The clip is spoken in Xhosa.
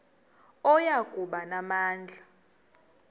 oya kuba namandla